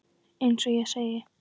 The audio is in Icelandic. Eins og ég segi.